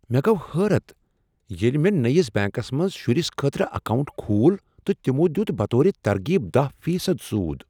مےٚ گوٚو حیرت ییٚلہ مےٚ نٔیس بیٚنٛکس منٛز شرس خٲطرٕ اکاونٹ کھول تہٕ تمو دیت بطور ترغیب دہَ فیصد سود